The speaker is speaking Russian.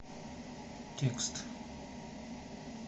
текст